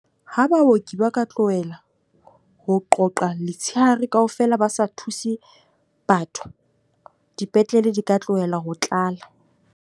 Ha baoki ba ka tlohela ho qoqa letshehare kaofela ba sa thuse batho. Dipetlele di ka tlohela ho tlala.